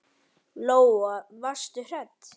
Lóa: Varstu hrædd?